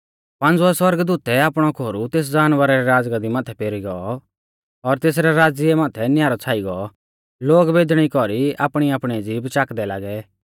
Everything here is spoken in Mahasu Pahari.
पांज़ुवै सौरगदूतै आपणौ खोरु तेस जानवरा री राज़गाद्दी माथै पेरी गौ और तेसरै राज़्य माथै न्यारौ छ़ाई गौ लोग बेदणी कौरी आपणीआपणी ज़ीभ चाकदै लागै